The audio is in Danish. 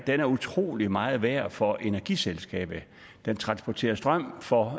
er utrolig meget værd for energiselskabet den transporterer strøm for